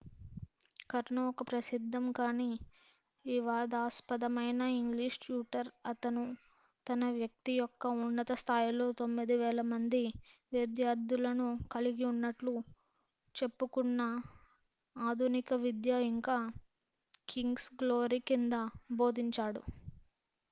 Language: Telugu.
కర్నో ఒక ప్రసిద్దం కానీ వివాదాస్పదమైన ఇంగ్లీష్ ట్యూటర్ అతను తన వృత్తి యొక్క ఉన్నత స్థాయిలో 9,000 మంది విద్యార్థులను కలిగి ఉన్నట్లు చెప్పుకున్న ఆధునిక విద్య ఇంకా కింగ్స్ గ్లోరీ కింద బోధించాడు